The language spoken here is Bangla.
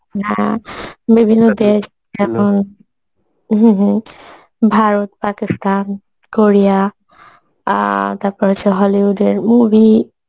হ্যাঁ বিভিন্ন দেশ হম হম ভারত পাকিস্থান কোরিয়া আ তারপরে আছে hollywood এর movie